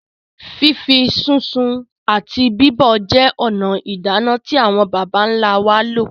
Fífí, sísun àti bíbọ̀ jẹ́ ònà ìdáná tí àwọn bàbá ńlá wá lò,.